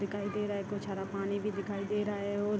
दिखाई दे रहा है कुछ हरा पानी भी दिखाई दे रहा है और --